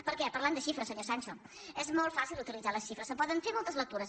perquè parlant de xifres senyor sancho és molt fàcil uti·litzar les xifres se’n poden fer moltes lectures